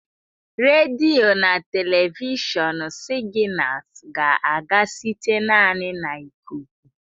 Redio na telivishọn signals ga-aga site naanị na ikuku.